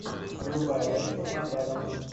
врубай рэйчел макадамс